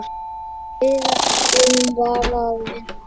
Við ætluðum bara að vinna.